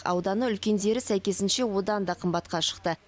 ауданы үлкендері сәйкесінше одан да қымбатқа шықты